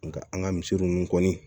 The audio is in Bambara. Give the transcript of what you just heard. Nka an ka misi ninnu kɔni